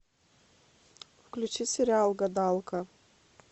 включи сериал гадалка